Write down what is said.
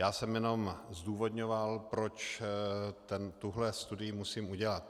Já jsem jenom zdůvodňoval, proč tuhle studii musím udělat.